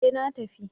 Eh na tafi.